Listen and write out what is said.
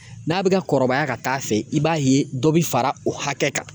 N'a bɛ ka kɔrɔbaya ka taa'a fɛ i b'a ye dɔ bɛ fara o hakɛ kan